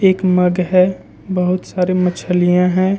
एक मग है बहुत सारे मछलियां हैं।